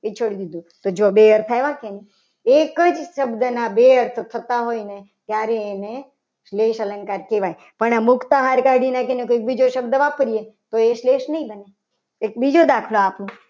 એ છોડી દીધું. જો બે શબ્દો આવ્યા કે નહીં. એક જ શબ્દના બે અર્થ થતા હોય ને ત્યારે એને સ્લેશ અલંકાર કહેવાય. પણ આમાં મુકતા આહાર શબ્દ કાઢીને બીજો કોઈ શબ્દ વાપરીએ. તો એ શ્લેષ નહીં ગણી. એક બીજો દાખલો આપું.